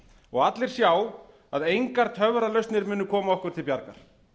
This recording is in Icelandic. og allir sjá að engar töfralausnir munu koma okkur til bjargar